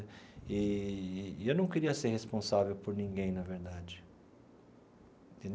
Eee e eu não queria ser responsável por ninguém, na verdade.